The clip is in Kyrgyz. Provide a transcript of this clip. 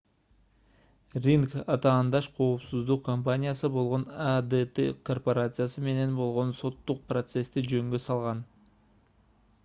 ринг атаандаш коопсуздук компаниясы болгон adt корпорациясы менен болгон соттук процессти жөнгө салган